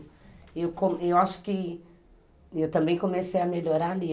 E eu acho que, e eu também comecei a melhorar ali.